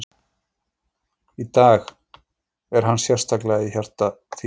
Í dag, er hann sérstaklega í hjarta þínu í dag?